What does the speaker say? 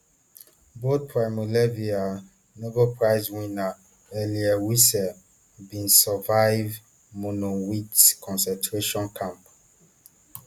both primo levi and nobel prize winner elie wiesel bin survive monowitz concentration camp